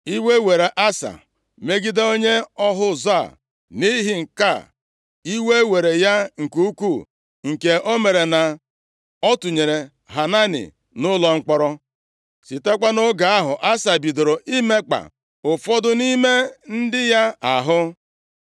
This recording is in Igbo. Iwe were Asa megide onye ọhụ ụzọ a nʼihi nke a; iwe were ya nke ukwuu nke mere na ọ tụnyere Hanani nʼụlọ mkpọrọ. Sitekwa nʼoge ahụ, Asa bidoro imekpa ụfọdụ nʼime ndị ya ahụ.